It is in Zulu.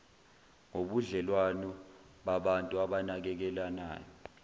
ngobudlelwano babantu abanakekelanayo